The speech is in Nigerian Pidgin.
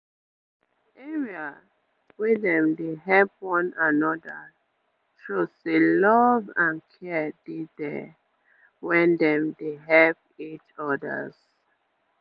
um area wey dey help one another show say love and care dey dere wen dem dey help each others